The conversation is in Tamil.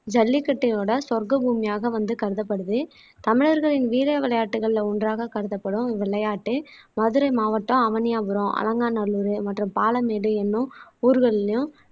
ஜல்லிக்கட்டையோட சொர்க்க பூமியாக வந்து கருதப்படுது தமிழர்களின் வீர விளையாட்டுகள்ல ஒன்றாக கருதப்படும் விளையாட்டு மதுரை மாவட்டம் அவனியாபுரம் அலங்காநல்லூர் மற்றும் பாலமேடு எண்ணும் ஊர்களிலும்